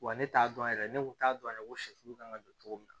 Wa ne t'a dɔn yɛrɛ ne kun t'a dɔn yɛrɛ ko sɛfu kan ka don cogo min na